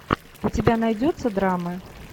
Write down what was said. у тебя найдется драмы